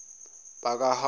bakahamoni